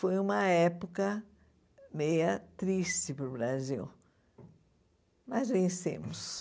Foi uma época meia triste para o Brasil, mas vencemos.